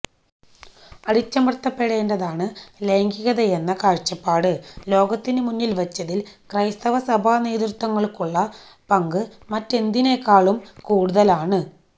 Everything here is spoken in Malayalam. അടിച്ചമര്ത്തപ്പെടേണ്ടതാണ് ലൈംഗികതയെന്ന കാഴ്ചപ്പാട് ലോകത്തിന് മുന്നില് വച്ചതില് ക്രൈസ്തവ സഭാ നേതൃത്വങ്ങള്ക്കുള്ള പങ്ക് മറ്റെന്തിനേക്കാളും കൂടുതലാണ്